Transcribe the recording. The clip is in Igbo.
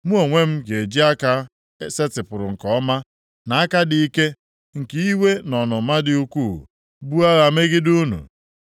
Mụ onwe m ga-eji aka e setịpụrụ nke ọma, na aka dị ike, nke iwe na ọnụma dị ukwuu, buo agha megide unu.